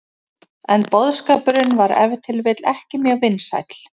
En boðskapurinn var ef til vill ekki mjög vinsæll.